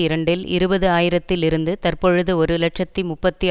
இரண்டில் இருபது ஆயிரம்த்தில் இருந்து தற்பொழுது ஒரு இலட்சத்தி முப்பத்தி